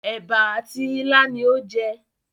ẹ̀bà àti ilá ni ó jẹ